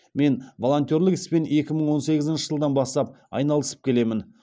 мен волонтерлік іспен екі мың он сегізінші жылдан бастап айналысып келемін